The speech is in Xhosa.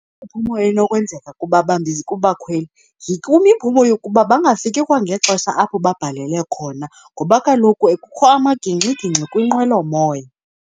Inokwenzeka kubakhweli. kwimiphumo yokuba bangafiki ngexesha apho babhalele khona, ngoba kaloku kukho amagingxgingxi kwinqwelomoya.